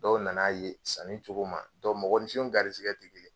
Dɔw nan'a ye sanni cogo ma mɔgɔninfinw garisɛgɛ tɛ kelen ye